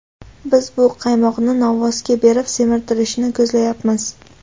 Biz bu qaymoqni novvosga berib semirtirishni ko‘zlayapmiz.